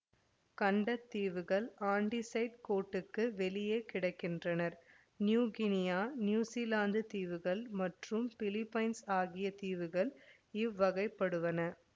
கண்ட தீவுகள் ஆன்டிசைட் கோட்டுக்கு வெளியே கிடக்கின்றன நியூகினியா நியுஸிலாந்து தீவுகள் மற்றும் பிலிப்பைன்ஸ் ஆகிய தீவுகள் இவ்வகைப்படுவன